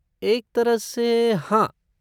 एक तरह से हाँ।